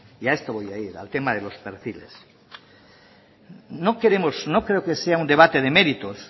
y a esto voy a ir al tema de los perfiles no creo que sea un debate de méritos